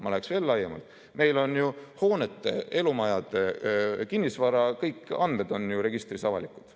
Ma vaataks veel laiemalt: meil on ju hoonete, elumajade, kinnisvara, kõige andmed registris avalikud.